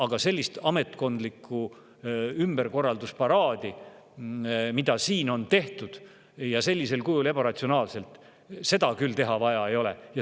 Aga sellist ametkondlike ümberkorralduste paraadi, mida siin on tehtud, ja sellisel kujul, ebaratsionaalselt, küll vaja ei ole.